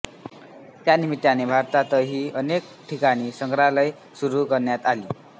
त्या निमित्ताने भारतातही अनेक ठिकाणी संग्रहालये सुरू करण्यात आली